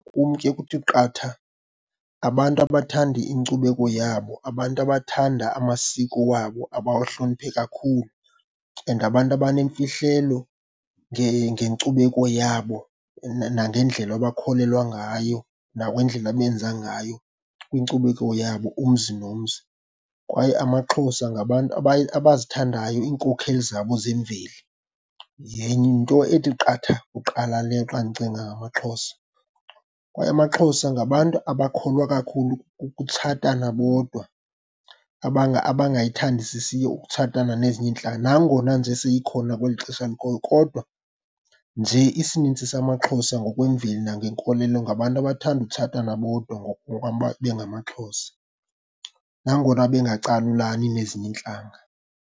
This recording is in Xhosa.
Kum ke kuthi qatha abantu abathanda inkcubeko yabo, abantu abathanda amasiko wabo, abawahloniphe kakhulu and abantu abanemfihlelo ngenkcubeko yabo nangendlela abakholelwa ngayo, nangendlela abenza ngayo kwinkcubeko yabo umzi nomzi, kwaye amaXhosa ngabantu abazithandayo iinkokheli zabo zemveli. Yinto ethi qatha kuqala le xa ndicinga ngamaXhosa, kwaye amaXhosa ngabantu abakholwa kakhulu kukutshatana bodwa abangayithandisisiyo ukutshatana nezinye iintlanga. Nangona nje seyikhona kweli xesha likhoyo kodwa nje isininzi samaXhosa ngokwemveli nangenkolelo ngabantu abathanda utshatana bodwa bengamaXhosa, nangona bangacalulani nezinye iintlanga.